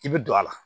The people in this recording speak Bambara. I bɛ don a la